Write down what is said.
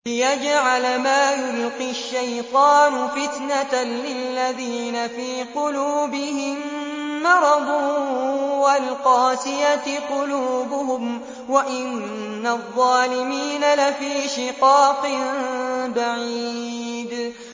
لِّيَجْعَلَ مَا يُلْقِي الشَّيْطَانُ فِتْنَةً لِّلَّذِينَ فِي قُلُوبِهِم مَّرَضٌ وَالْقَاسِيَةِ قُلُوبُهُمْ ۗ وَإِنَّ الظَّالِمِينَ لَفِي شِقَاقٍ بَعِيدٍ